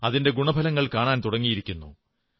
അതിന്റെ ഗുണഫലങ്ങൾ കാണാൻ തുടങ്ങിയിരിക്കുന്നു